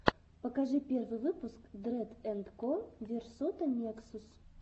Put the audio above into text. покажи первый выпуск дрэд энд ко версута нексус